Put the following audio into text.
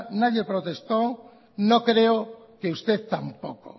nadie protestó no creo que usted tampoco